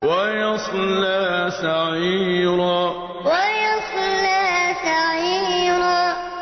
وَيَصْلَىٰ سَعِيرًا وَيَصْلَىٰ سَعِيرًا